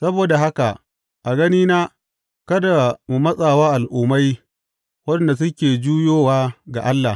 Saboda haka, a ganina, kada mu matsa wa Al’ummai waɗanda suke juyowa ga Allah.